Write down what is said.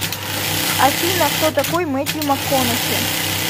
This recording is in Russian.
афина кто такой мэттью макконахи